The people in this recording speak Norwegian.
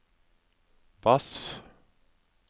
bass